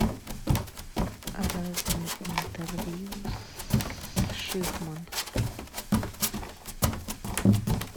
разные интервью с шихман